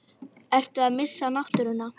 Ertu að missa náttúruna?